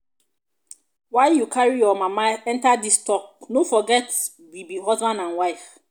why you carry your mama enter dis talk no forget we be husband and wife.